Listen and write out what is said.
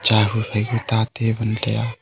chahu phaika ta table taiya.